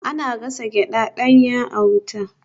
Ana gasa gyada danya a wuta